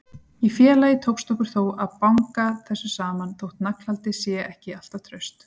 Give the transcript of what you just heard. Í félagi tókst okkur þó að banga þessu saman, þótt naglhaldið sé ekki alltaf traust.